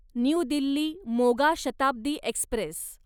new Delhi Moga Shatabdi Express